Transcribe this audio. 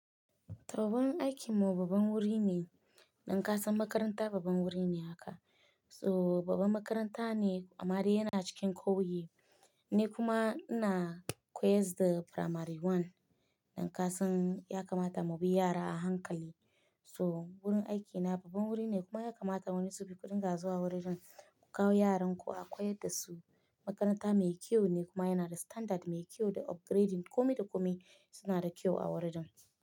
Toh wurin aikinmu babban wuri ne, dankasan makaranta babban wuri ne haka. So babban makaranta ne amma dai yana cikin ƙauye ni kuma ina koyas da primary one. Dankasan ya kamata mu bi yara a hankali. So wurin aikina babban wuri ne kuma ya kamata wani zu bi kuɗin ga zuwa wurin ku kawo yaranku a koyar da su. Makaranta mai kyau ne kuma yana da standard mai kyau da upgrading. Komi da kome suna da kyau a wurin.